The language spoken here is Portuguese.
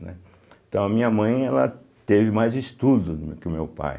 Né, então a minha mãe ela teve mais estudo que o meu pai.